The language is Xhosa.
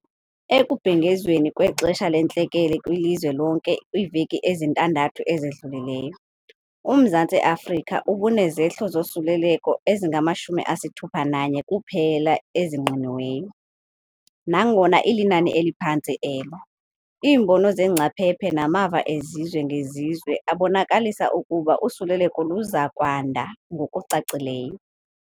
Ekubhengezweni kwexesha lentlekele kwilizwe lonke kwiveki ezintandathu ezidlulileyo, uMzantsi Afrika ubunezehlo zosuleleko ezingama-61 kuphela ezingqiniweyo. Nangona ilinani eliphantsi elo, iimbono zeengcaphephe namava ezizwe ngezizwe abonakalise ukuba usuleleko luza kwanda ngokucacileyo.